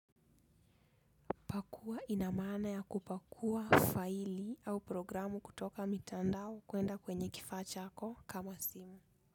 Pakua inamana ya kupakua faili au programu kutoka mitandao kuenda kwenye kifaa chako kama simu.